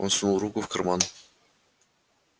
он сунул руку в карман